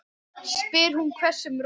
spyr hún hvössum rómi.